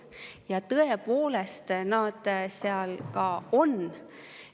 Ja tõepoolest, need seal ka on.